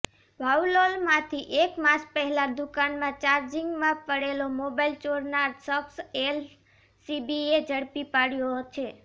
વાવોલમાંથી એક માસ પહેલાં દુકાનમાં ચાર્જીગમાં પડેલો મોબાઈલ ચોરનાર શખ્સ એલસીબીએ ઝડપી પાડ્યો છે